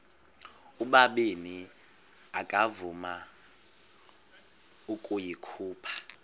ubabini akavuma ukuyikhupha